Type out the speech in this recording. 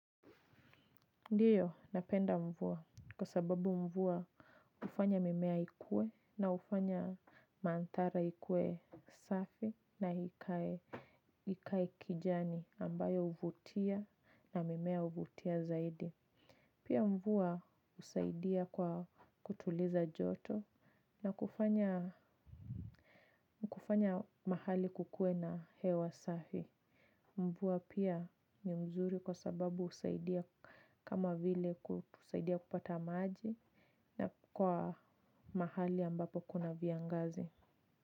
Ndiyo, napenda mvua kwa sababu mvua hufanya mimea ikuwe na hufanya manthara ikuwe safi na ikae kijani ambayo huvutia na mimea huvutia zaidi. Pia mvua husaidia kwa kutuliza joto na kufanya mahali kukuwe na hewa safi. Mvua pia ni mzuri kwa sababu husaidia kama vile kusaidia kupata maji na kwa mahali ambapo kuna viangazi.